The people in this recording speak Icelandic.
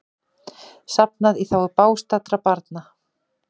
Safnað í þágu bágstaddra barna